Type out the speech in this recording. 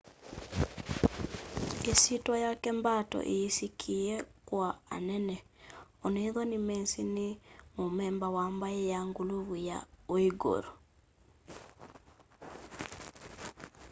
isyitwa yake mbato iyisikie kwa anene onethwa nimesi ni mumemba wa mbai ya nguluvu ya uighur